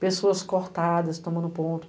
Pessoas cortadas, tomando ponto.